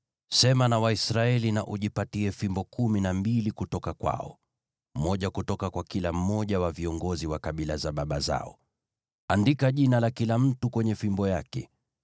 “Sema na Waisraeli, na ujipatie fimbo kumi na mbili kutoka kwao, moja kutoka kwa kila mmoja wa viongozi wa kabila za baba zao. Andika jina la kila mtu kwenye fimbo yake.